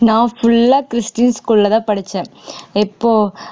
நான் full ஆ christian school லதான் படிச்சேன் எப்போ